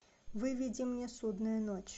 выведи мне судная ночь